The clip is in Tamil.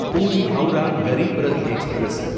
பூரி ஹவுரா கரிப் ரத் எக்ஸ்பிரஸ்